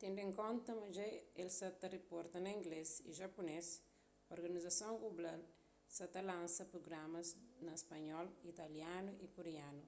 tendu en konta ma dja el sa ta riporta na inglês y japunês organizason global sa ta lansa prugramas na spanhol italianu y koreanu